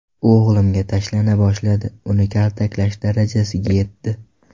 U o‘g‘limga tashlana boshladi, uni kaltaklash darajasiga yetdi.